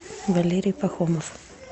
валерий пахомов